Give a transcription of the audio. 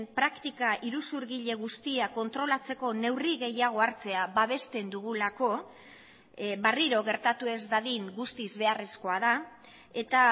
praktika iruzurgile guztiak kontrolatzeko neurri gehiago hartzea babesten dugulako berriro gertatu ez dadin guztiz beharrezkoa da eta